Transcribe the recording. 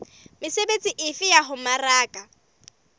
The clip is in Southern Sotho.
mesebetsi efe ya ho mmaraka